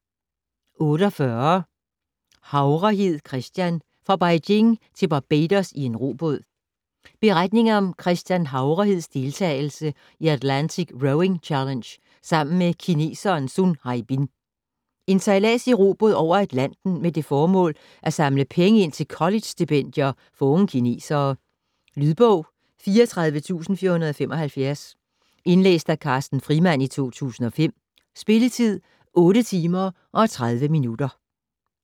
48 Havrehed, Christian: Fra Beijing til Barbados i en robåd Beretning om Christian Havreheds deltagelse i Atlantic Rowing Challenge sammen med kineseren Sun Haibin. En sejlads i robåd over Atlanten med det formål at samle penge ind til collegestipendier for unge kinesere. Lydbog 34475 Indlæst af Carsten Frimand, 2005. Spilletid: 8 timer, 30 minutter.